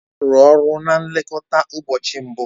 Ọ rụrụ ọrụ na nlekọta ụbọchị mbụ